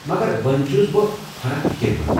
مگر وۄنۍ چھُس بہٕ ہنا فِكرمند ۔